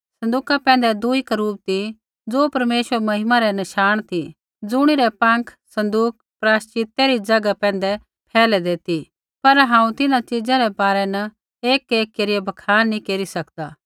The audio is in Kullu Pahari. सँदूका पैंधै दुई करूब ती ज़ो परमेश्वरा री महिमा रै नशाण ती ज़ुणिरै पाँख सँदूक प्रायश्चितै री ज़ैगा पैंधै फैलैदै ती पर हांऊँ इन्हां च़ीज़ा रै बारै न एकएक केरिआ बखान नैंई केरी सकदा